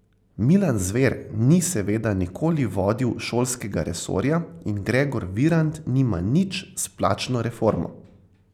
Milan Zver ni seveda nikoli vodil šolskega resorja in Gregor Virant nima nič s plačno reformo.